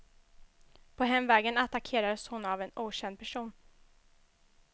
På hemvägen attackeras hon av en okänd person.